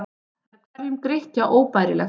Það er hverjum Grikkja óbærilegt.